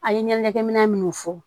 A ye ɲɛnajɛkɛ minɛ minnu fɔ